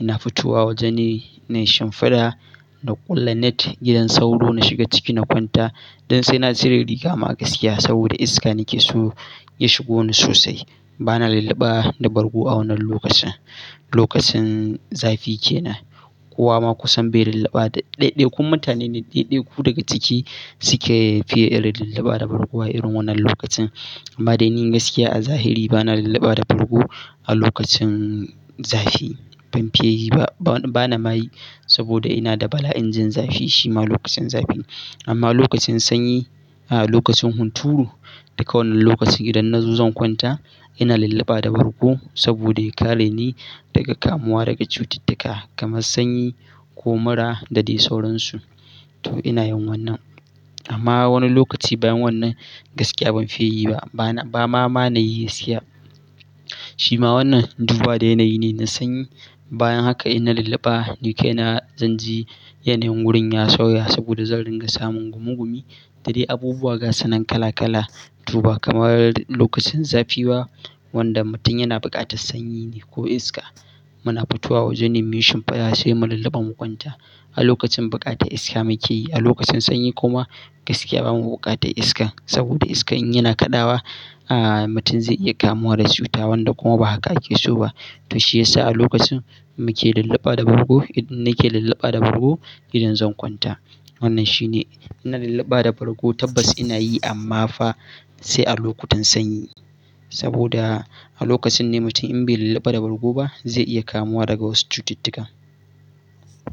Ina fitowa wajena shinfaɗa na ƙulla net gidan sauro na shiga ciki na kwanta don sai na cire riga ma gaskiya saboda iska nake so ya shigo ni sosai. Bana lallaba da bargo a wannan lokacin, lokacin zafi kenan. Kowa ma kusan bai lallaba da, ɗaiɗaikun mutane ne ɗaiɗaiku daga ciki suke fiye irin lallaba da bargo a irin wannan lokacin. Amma dai ni gaskiya a zahiri bana lallaba da bargo a lokacin zafi. Ban fiye yi ba, ba na mayi saboda ina da bala'in jin zafi shima lokacin zafi amma lokacin sanyi a lokacin hunturu da kowane lokaci idan na zo zan kwanta ina lilliba da bargo saboda ya kare ni daga kamuwa daga cututtuka kamar sanyi ko mura da dai sauransu. To ina yin wannan amma wani lokaci bayan wannan gaskiya ban fiye yi ba. Ba ma, ma na yi siyan. Shima wannan duba da yanayi ne na sanyi bayan haka ina lilliba ni kai na zan ji yanayin wurin ya sauya saboda zan dinga samun gumugumi da dai abubuwa gasanan kala kala. To ba kamar lokacin zafi ba wanda mutum yana bukatar sanyi ne ko iska. Muna fitowa wajen mu yi shinfaɗa sai mu lilliba mu kwanta. A lokacin bukata iska muke yi, a lokacin sanyi kuma gaskiya bamu bukatar iskan saboda iska in yana kaɗawa aa mutum zai iya kamuwa da cuta wanda kuma ba haka ake so ba. To shiyasa a lokacin muke lilliba da bargo, idan nake lilliba da bargo idan zan kwanta. Wannan shine ina lilliba da bargo tabbas ina yi amma fa sai a lokutan sanyi saboda a lokacin ne mutum in bai lilliba da bargo ba zai iya kamuwa daga wasu cututtuka.